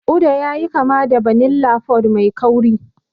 Uda yayi kama da vanilla pod mai kauri.